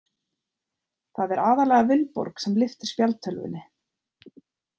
Það er aðallega Vilborg sem lyftir spjaldtölvunni.